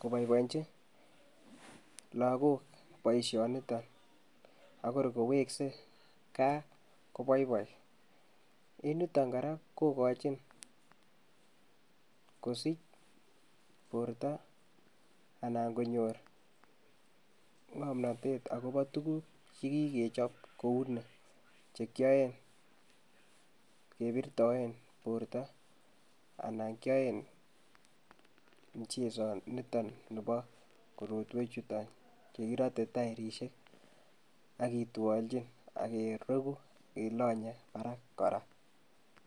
koboiboiji lakok boisionito akurubu koweksei gaa ko boiboi. En yuton kora kokochin kosich borta anan konyoru ng'omnatet akobo tukuk che kikechop kouni, che kioen kebirtoen borta anan kioen michezo nitoni nebo korotwechuton che kirote tairisiek akitwoljin akereku ilonye barak kora.